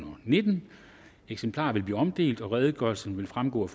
og nittende eksemplarer vil blive omdelt og redegørelsen vil fremgå af